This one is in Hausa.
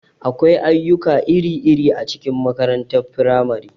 Akwai ayyuka iri-iri a cikin makarantar firamare.